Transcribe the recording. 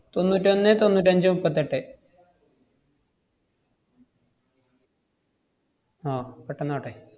തൊണ്ണൂറ്റൊന്നേ തൊണ്ണൂറ്റഞ്ചേ മുപ്പത്തെട്ടേ ആഹ് പെട്ടന്നാകട്ടെ.